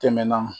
Tɛmɛna